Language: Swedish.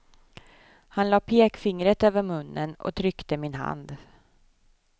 Han lade pekfingret över munnen och tryckte min hand.